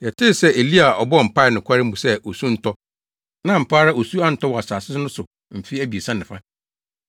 Yɛte sɛ Elia a ɔbɔɔ mpae nokware mu sɛ osu nntɔ, na ampa ara osu antɔ wɔ asase no so mfe abiɛsa ne fa.